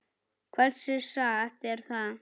Hversu satt er það?